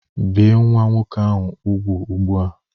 Bie nwa nwoke ahụ úgwù ugbu a!